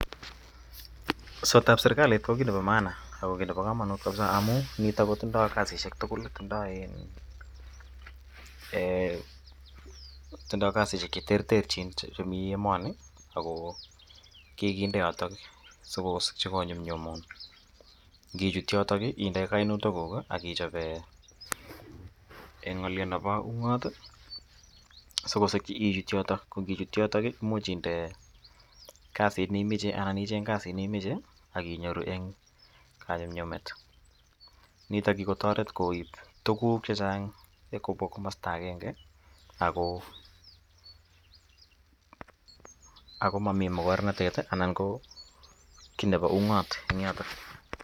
Sotab serikali ko ki ne pa maana ako ki ne pa kamanut missing' amu nitok ko tindai kasishek tugul ,tundai kasishek che terterchin chemi emani ako kikinde yotok sikonyumnyumun. Ngichut yotok inde kainautikuk ak ichop g'alyot nepo ung'at i si kosikchi ichut yotok. Ko ngichut yotok imuch kasiit ne imache anan icheng' kasit ne imache ak inyoru eng' kanyumnyumet. Nitok ko kikotaewt koip tuguk che chang' kopwa komasta agenge ako mami makornatet anan ko ki nepa ung'at eng' yotok.